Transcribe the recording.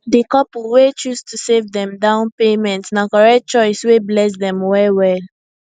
di couple wey choose to save dem down payment na correct choice wey bless dem well well